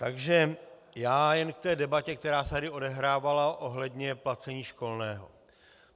Takže já jen k té debatě, která se tady odehrávala ohledně placení školného.